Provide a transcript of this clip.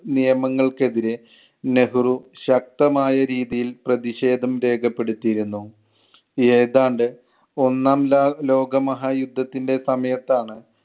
നിയമങ്ങൾക്കെതിരെ നെഹ്‌റു ശക്തമായ രീതിയിൽ പ്രതിക്ഷേധം രേഖപ്പെടുത്തിയിരുന്നു. ഏതാണ്ട് ഒന്നാം ലാ~ ലോകമഹായുദ്ധത്തിൻ്റെ സമയത്താണ്